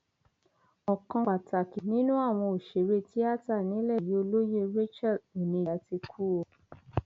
ọkan pàtàkì nínú àwọn òṣèré tíátà nílẹ yìí olóyè rachael oníga ti kú o